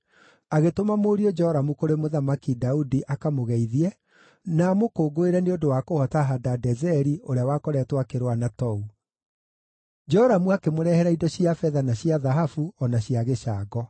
agĩtũma mũriũ Joramu kũrĩ Mũthamaki Daudi akamũgeithie na amũkũngũĩre nĩ ũndũ wa kũhoota Hadadezeri, ũrĩa wakoretwo akĩrũa na Tou. Joramu akĩmũrehera indo cia betha na cia thahabu, o na cia gĩcango.